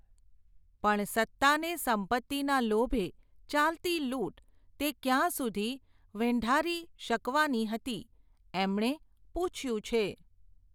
પણ સત્તા ને સંપત્તિના લોભે, ચાલતી લૂટ, તે ક્યાં સુધી વેંઢારી, શકવાની હતી, એમણે, પૂછ્યું છે.